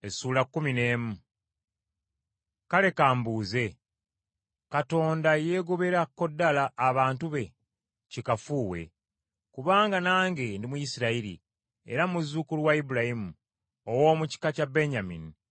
Kale ka mbuuze: Katonda yeegoberako ddala abantu be? Kikafuuwe. Kubanga nange ndi Muyisirayiri, era muzzukulu wa Ibulayimu, ow’omu kika kya Benyamini.